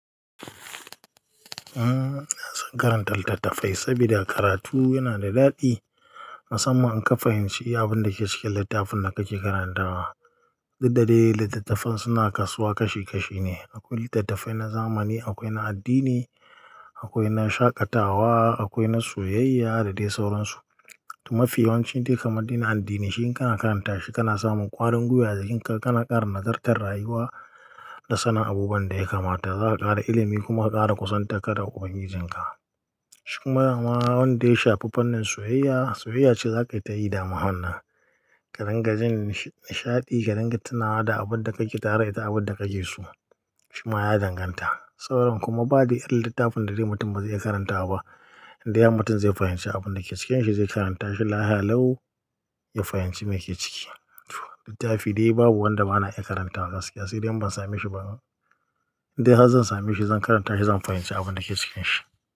Ina son karantar littattafai saboda karatu yana da daɗi. Musamman in ka fahimci abin da ke cikin littafin da kake karantawa. Duk da dai littattafai suna kasuwa kashi kashi ne. Akwai littattafai na zamani, akwai na addini, akwai na shaƙatawa, akwai na soyayya da dai sauransu. Toh mafi yawancin dai kamar din addini, shi in kana karanta shi kana samun ƙwarin gwiwa a jikinka kana ƙara nagartar rayuwa. Da sanin abubuwan da ya kamata. Za ka ƙara ilimi kuma ƙara kusantar ƙadar ubangijinka. Shi kuma dama wanda ya shafi fannin soyayya, soyayya ce za ka yi ta yi dama wannan. Ka dinga jin nishaɗi, ka dinga tunawa da abin da kake tare da ita da abin da kake so. Shi ma ya danganta. Sauran kuma ba dai irin littafin da dai mutum ba zai iya karantawa ba. Inda har mutum zai fahimci abin da ke cikinsa zai karanta shi lafiya lau ya fahimci me ke ciki. Toh! Littafi dai babu wanda ba na iya karantawa gaskiya sai dai idan ban same shi ba. Indai har zan same shi zan karanta shi zan fahimci abin da ke cikin shi.